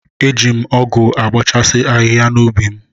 Eji m ọgụ abọchasi ahihia nọ n'ubi m.